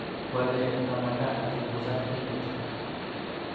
kwalee ngamanda achunguzan emet